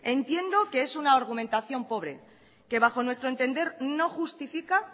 entiendo que es una argumentación pobre que bajo nuestro entender no justifica